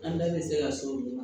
An bɛɛ bɛ se ka so dun